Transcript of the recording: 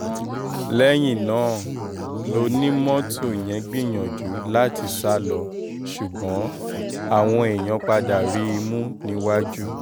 lẹ́yìn náà lọ́ni mọ́tò yẹn gbìyànjú láti sá lọ ṣùgbọ́n àwọn èèyàn padà rí i mú níwájú